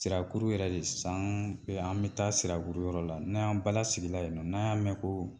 Sirakuru yɛrɛ de saan bɛ an bɛ taa sirabulu yɔrɔ la, n'a y'an balasigila yen nɔ, n'an y'a mɛ koo